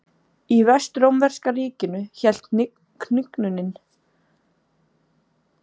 Í Vestrómverska ríkinu hélt hnignunin áfram.